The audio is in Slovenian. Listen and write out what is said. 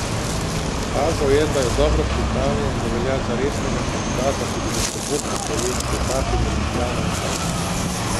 Pokazal je, da je dobro pripravljen in da velja za resnega kandidata tudi v sobotni kraljevski etapi med Ljubljano in Kamnikom.